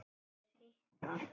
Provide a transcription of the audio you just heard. Mér hitnar.